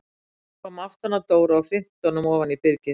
Hún kom aftan að Dóra og hrinti honum ofan í byrgið!